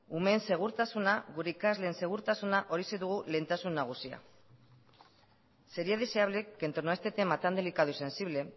umeen segurtasuna gure ikasleen segurtasuna horixe dugu lehentasun nagusia sería deseable que en torno a este tema tan delicado y sensible